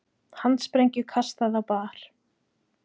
Handsprengju kastað á bar